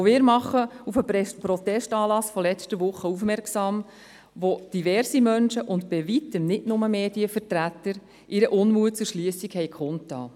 Auch wir machen auf den Protestanlass von letzter Woche aufmerksam, wo diverse Menschen, darunter bei Weitem nicht nur Medienvertreter, ihren Unmut über die Schliessung kundtaten.